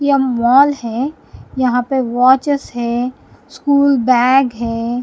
यह मॉल है यहां पे वॉचेस है स्कूल बैग है।